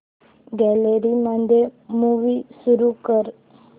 gallery मध्ये movie सुरू कर